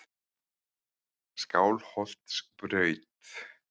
Skálholtsbraut